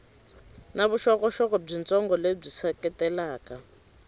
na vuxokoxoko byitsongo lebyi seketelaka